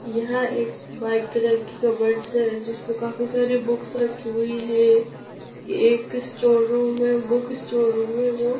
यह एक white colour कि कबर्ड्स हैं जिसपे काफी सारे बुक्स रखी हुई हैं और एक स्टोर रूम है बुक स्टोर रूम है जो--